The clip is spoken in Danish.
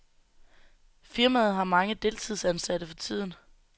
Firmaet har mange deltidsansatte for tiden.